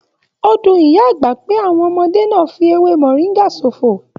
O dùn ìyá àgbà pé àwọn ọmọdé náà fí ewé moringa sófo.